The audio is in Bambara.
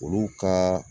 Olu ka